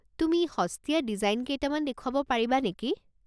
তুমি সস্তীয়া ডিজাইন কেইটামান দেখুৱাব পাৰিবা নেকি?